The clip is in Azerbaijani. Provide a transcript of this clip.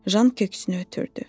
Jan köksünü ötürdü.